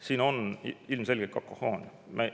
Siin on ilmselgelt kakofoonia.